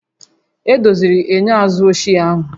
Edoziri enyo azụ ochie ahụ